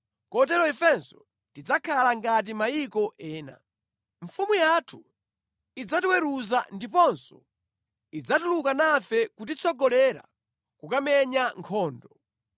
Kotero ifenso tidzakhala ngati mayiko ena. Mfumu yathu idzatiweruza ndiponso idzatuluka nafe kutitsogolera kukamenya nkhondo.”